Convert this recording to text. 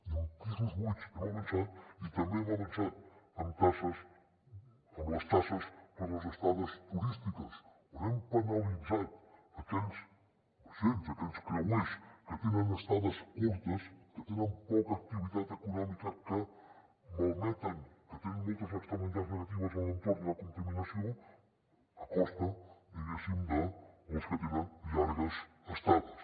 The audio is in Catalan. i amb pisos buits hem avançat i també hem avançat amb taxes amb les taxes per a les estades turístiques on hem penalitzat aquells vaixells aquells creuers que tenen estades curtes que tenen poca activitat econòmica que malmeten que tenen moltes externalitats negatives en l’entorn i la contaminació a costa diguéssim dels que tenen llargues estades